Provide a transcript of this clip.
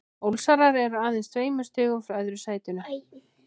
Ólsarar eru aðeins tveimur stigum frá öðru sætinu.